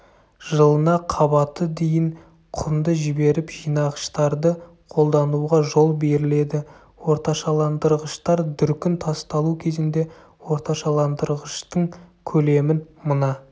жылына қабаты дейін құмды жіберіп жинағыштарды қолдануға жол беріледі орташаландырғыштар дүркін тасталу кезінде орташаландырғыштың көлемін мына